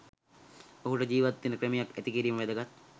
ඔහුට ජිවත් වෙන ක්‍රමයක් ඇති කිරීම වැදගත්